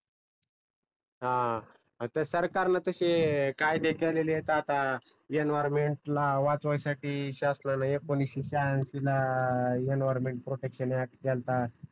हा आता सरकार न तशे कायदे केलेलेत आता येणवाय्रमेन्ट ला वाचवाय साठी शासनान एकोणविससे श्याहनशीला एनविरोमेन्ट प्रोटेक्षण अॅक्ट केलता